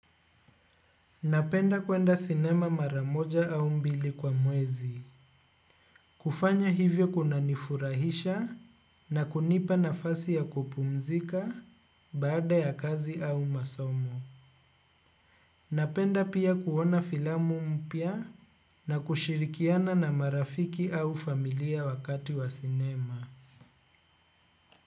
Napenda kwenda sinema maramoja au mbili kwa muezi. Kufanya hivyo kuna nifurahisha na kunipa na fasi ya kupumzika baada ya kazi au masomo. Napenda pia kuona filamu mpia na kushirikiana na marafiki au familia wakati wa sinema.